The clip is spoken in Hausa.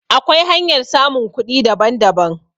Akwai hanyar samun kuɗi daban daban